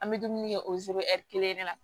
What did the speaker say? An bɛ dumuni kɛ kelen de la